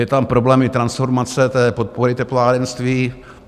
Je tam problém i transformace podpory teplárenství.